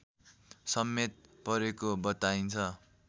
समेत परेको बताइन्छ